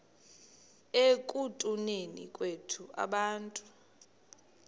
ekutuneni kwethu abantu